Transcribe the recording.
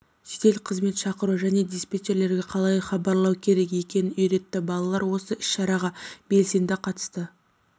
жедел қызмет шақыру және диспетчерге қалай хабарлау керек екенін үйретті балалар осы іс-шараға белсенді қатысты